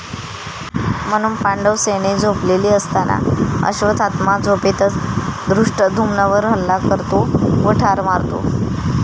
म्हणून पांडव सेने झोपलेली असताना, अश्वत्थामा झोपेतच धृष्टधुम्नवर हल्ला करतो व ठार मारतो.